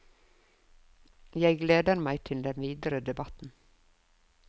Jeg gleder meg til den videre debatten.